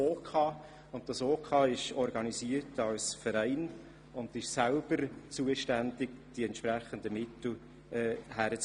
Es ist als Verein organisiert und daher auch selber für die Beschaffung der Mittel zuständig.